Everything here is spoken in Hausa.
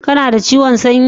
kana da ciwon sanyi